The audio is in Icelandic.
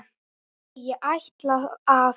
Nei, ég ætla að.